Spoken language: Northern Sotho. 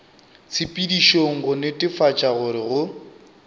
tshepedišong go netefatša gore go